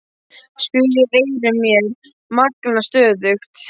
Suðið í eyrum mér magnast stöðugt.